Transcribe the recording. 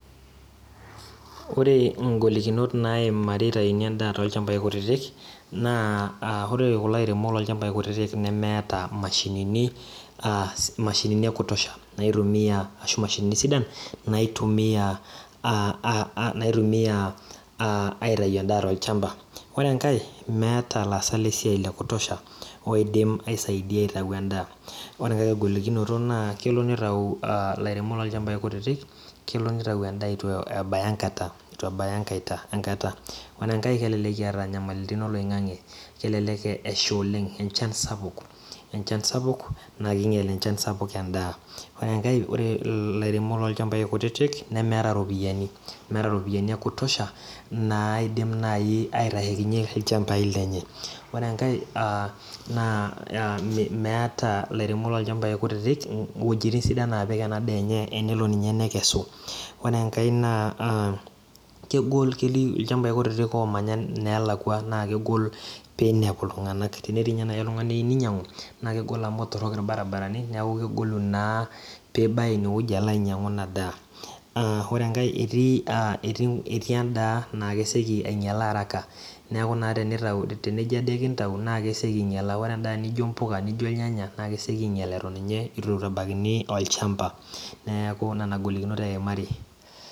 Ore inkolikinot naimari eitauni endaa tolchambai kutitik naa